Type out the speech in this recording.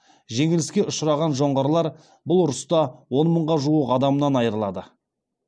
жеңіліске ұшыраған жоңғарлар бұл ұрыста он мыңға жуық адамынан айырылады